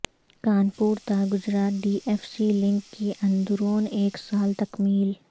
کانپور تا Gujarat D F C link کی اندرون ایک سال تکمیل